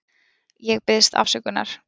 Ég biðst afsökunar.